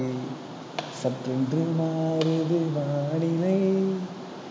சட்டென்று மாறுது வானிலை